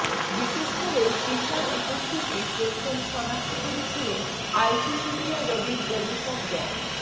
বিশেষ করে সিসার উপস্থিতি প্রথম শনাক্ত করেছিলেন আইসিসিডিআরবির গবেষক ড